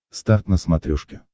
старт на смотрешке